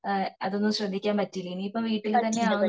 ഏഹ്ഹ് അതൊന്നും ശ്രദ്ധിക്കാൻ പറ്റിയില്ല ഇനി ഇപ്പൊ വീട്ടിൽ തന്നെ ആവും